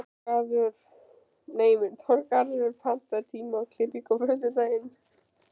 Þorgarður, pantaðu tíma í klippingu á föstudaginn.